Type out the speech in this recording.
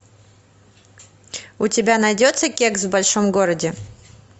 у тебя найдется кекс в большом городе